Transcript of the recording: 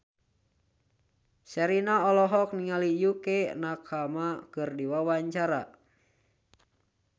Sherina olohok ningali Yukie Nakama keur diwawancara